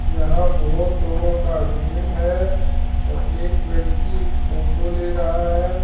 यहां बहोत लोगों का भीड़ है और एक व्यक्ति फोटो ले रहा है।